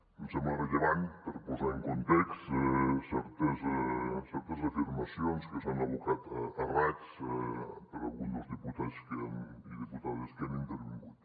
em sembla rellevant per posar en context certes afirmacions que s’han abocat a raig per algun dels diputats i diputades que han intervingut